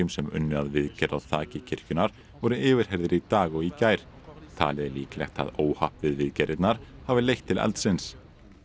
sem unnu að viðgerð á þaki kirkjunnar voru yfirheyrðir í dag og í gær talið er líklegt að óhapp við viðgerðirnar hafi leitt til eldsins